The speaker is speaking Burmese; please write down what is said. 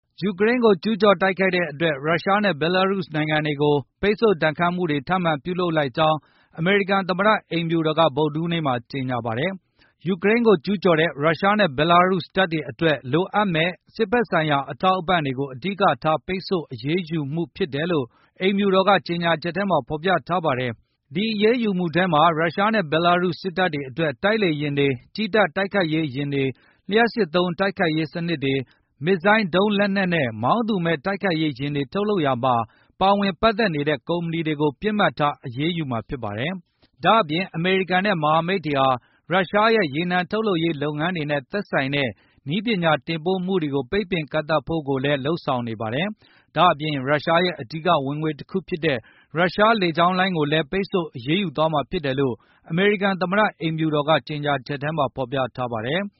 ယူကရိန်း ကို ကျူးကျော်တိုက်ခိုက်တဲ့အ တွက် ရုရှားနဲ့ ဘလရုစ် နိုင်ငံတွေကို ပိတ်ဆို့ဒဏ်ခတ်မှုတွေကိုထပ်မံပြုလုပ်လိုက်ကြောင်း အမေရိကန်သမ္မတ အိမ်ဖြူတော်က ဗုဒ္ဓဟူးနေ့မှာကြေညာပါတယ်။ ယူကရိန်းကို ကျူးကျော်တဲ့ ရုရှားနဲ့ ဘလားရုစ်တပ်တွေအတွက်လိုအပ်မယ့် စစ်ဘက်ဆိုင်ရာအထောက်အပံတွေကို အဓိကထားတဲ့ ပိတ်ဆို့အရေးယူမှု ဖြစ်တယ်လို့ အိမ်ဖြူတော်ကကြေညာချက်ထဲမှာပြောဆိုထားပါတယ်။ ဒီအရေးယူမှုထဲမှာ ရုရှားနဲ့ ဘယ်လရုစ်စစ်တပ်အတွက် တိုက်လေယဉ်တွေ၊ ကြည်းတပ်တိုက်ခိုက်ရေးယဉ်တွေ၊ လျပ်စစ်သုံးတိုက်ခိုက်ရေးစနစ်တွေ၊ မစ်ဇိုင်းဒုံလက်နှက်နဲ့ မောင်းသူမဲ့တိုက်ခိုက်ရေးယဉ်တွေထုတ်လုပ်ရာမှာ ပါဝင်ပတ်သက်နေတဲ့ ကုမ္ပဏီတွေကို ပစ်မှတ်ထားအရေးယူမှာဖြစ်ပါတယ်။ ဒါ့အပြင်အမေရိကန်နဲ့ မဟာမိတ်တွေဟာ ရုရှားရဲ့ရေနံထုတ်လုပ်ရေးလုပ်ငန်း တွေနဲ့ သက်ဆိုင်တဲ့ နည်းပညာတင်ပို့မှုတွေကိုပိတ်ပင်ကန့်သတ်ဖို့ကိုလည်း လုပ်ဆောင်နေပါတယ်။ ဒါ့အပြင် ရုရှားရဲ့အဓိကဝင်ငွေတခုဖြစ်တဲ့ ရုရှားလေကြောင်းလိုင်းကိုလည်း ပိတ်ဆို့အရေးယူသွားမှာဖြစ်တယ်လို့ အမေရိကန်သမ္မတ အိမ်ဖြူတော်က ကြေညာချက်မှာဖေါ်ပြထားပါတယ်။